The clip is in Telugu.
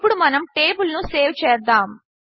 ఇప్పుడు మనము టేబిల్ను సేవ్ చేద్దాము